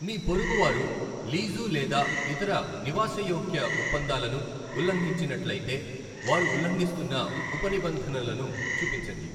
మీ పొరుగువారు లీజు లేదా ఇతర నివాసయోగ్య ఒప్పందాలను ఉల్లంఘించినట్లయితే, వారు ఉల్లంఘిస్తున్న ఉపనిబంధనలను చూపించండి.